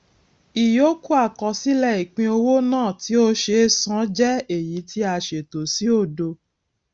ìyókù àkọsílẹ ìpínowó náà tí ó ṣe é san jẹ èyí tí a ṣètò sí òdo